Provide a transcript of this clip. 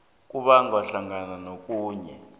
kubalwa hlangana nokhunye